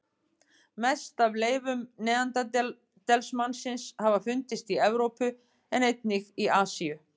Mest af leifum neanderdalsmannsins hafa fundist í Evrópu en einnig í Asíu.